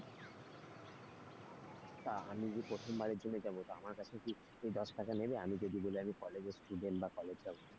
তা আমি যে প্রথমবারের জন্য যাবো তো আমার কাছে কি দশ টাকা নেবে, আমি যদি বলি আমি college এর student বা college যাবো?